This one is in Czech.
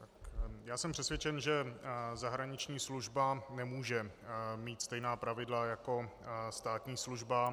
Já jsem přesvědčen, že zahraniční služba nemůže mít stejná pravidla jako státní služba.